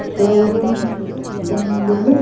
Showroom బండులు.